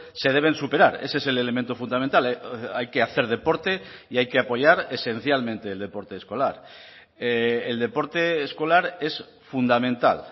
se deben superar ese es el elemento fundamental hay que hacer deporte y hay que apoyar esencialmente el deporte escolar el deporte escolar es fundamental